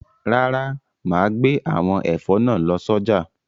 Rárá, màá gbé àwọn ẹ̀fọ́ náà lọ sọ́jà.